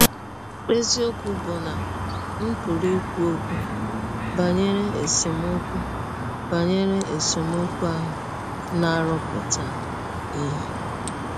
Eziọkwụ bụ́ na m pụrụ ikwu ọkwụ banyere esemọkwụ banyere esemọkwụ ahụ na - arụpụta ihe.